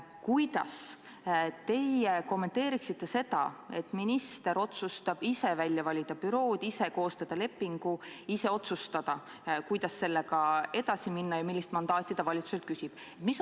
Kuidas teie kommenteeriksite seda, et minister otsustab ise välja valida bürood ja ise koostada lepingu ning otsustab ise, kuidas selle teemaga edasi minna ja millist mandaati valitsuselt küsida?